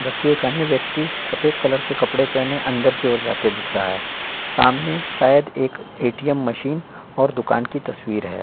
ज की एक अन्य व्यक्ति सपेद कलर के कपड़े पहने अंदर के ओर जाते दिख रहा है सामने सायद एक ए.टी.एम. मशीन और दुकान की तस्वीर है।